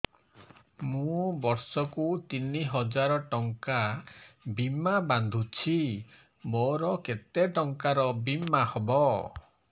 ମୁ ବର୍ଷ କୁ ତିନି ହଜାର ଟଙ୍କା ବୀମା ବାନ୍ଧୁଛି ମୋର କେତେ ଟଙ୍କାର ବୀମା ହବ